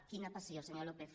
quina passió senyor lópez